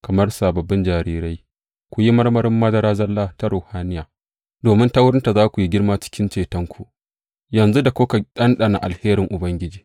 Kamar sababbin jarirai, ku yi marmarin madara zalla ta ruhaniya, domin ta wurinta za ku yi girma cikin cetonku, yanzu da kuka ɗanɗana alherin Ubangiji.